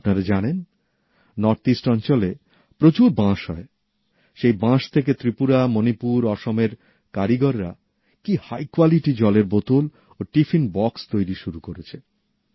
আপনারা জানেন উত্তরপূর্ব অঞ্চলে প্রচুর বাঁশ হয়সেই বাঁশ থেকে ত্রিপুরা মণিপুর অসমের কারিগররা কি দারুণ উচ্চমানের জলের বোতল ও টিফিন বাক্স তৈরি শুরু করেছেন